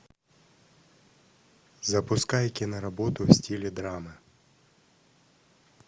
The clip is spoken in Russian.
запускай киноработу в стиле драма